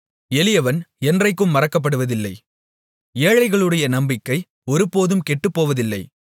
எளியவன் என்றைக்கும் மறக்கப்படுவதில்லை ஏழைகளுடைய நம்பிக்கை ஒருபோதும் கெட்டுப்போவதில்லை